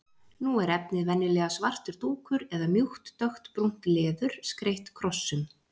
Nú er efnið venjulega svartur dúkur eða mjúkt dökkbrúnt leður, skreytt krossum.